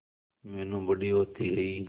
मीनू बड़ी होती गई